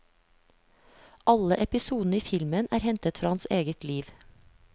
Alle episodene i filmen er hentet fra hans eget liv.